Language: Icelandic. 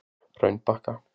Hraunbakka